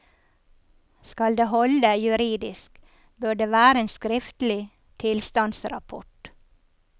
Skal det holde juridisk, bør det være en skriftlig tilstandsrapport.